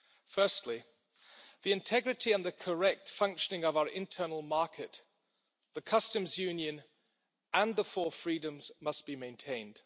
Firstly, the integrity and the correct functioning of our internal market, the customs union and the Four Freedoms must be maintained.